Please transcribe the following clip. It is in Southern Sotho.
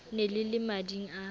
ne le le mading a